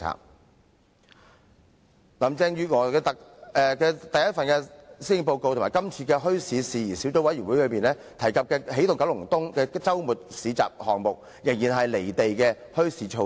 在林鄭月娥的首份施政報告及今次的墟市事宜小組委員會報告中，提及"起動九龍東"的周末市集項目，這仍然是"離地"的墟市措施。